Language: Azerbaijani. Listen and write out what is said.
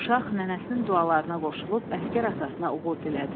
Uşaq nənəsinin dualarına qoşulub əsgər atasına uğur dilədi.